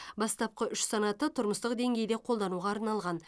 бастапқы үш санаты тұрмыстық деңгейде қолдануға арналған